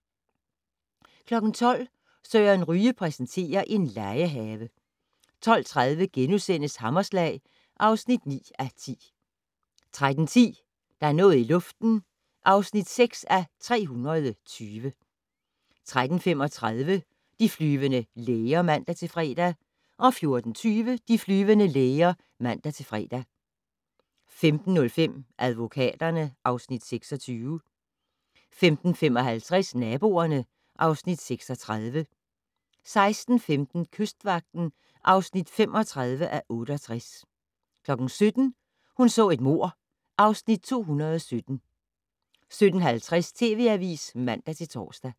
12:00: Søren Ryge præsenterer: En legehave 12:30: Hammerslag (9:10)* 13:10: Der er noget i luften (6:320) 13:35: De flyvende læger (man-fre) 14:20: De flyvende læger (man-fre) 15:05: Advokaterne (Afs. 26) 15:55: Naboerne (Afs. 36) 16:15: Kystvagten (35:68) 17:00: Hun så et mord (Afs. 217) 17:50: TV Avisen (man-tor)